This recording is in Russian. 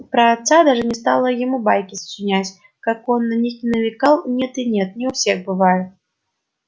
про отца даже не стала ему байки сочинять как он на них ни намекал нет и нет не у всех бывает